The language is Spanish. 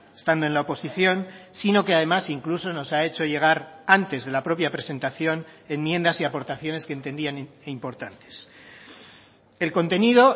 estando en la oposición sino que además incluso nos ha hecho llegar antes de la propia presentación enmiendas y aportaciones que entendían importantes el contenido